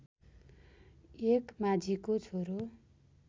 एक माझीको छोरो